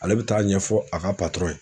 Ale bɛ taa ɲɛfɔ a ka